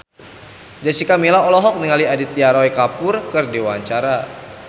Jessica Milla olohok ningali Aditya Roy Kapoor keur diwawancara